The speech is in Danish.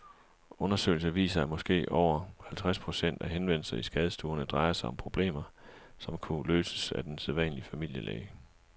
Undersøgelser viser, at måske over halvtreds procent af henvendelserne i skadestuerne drejer sig om problemer, som bedre kunne løses af den sædvanlige familielæge.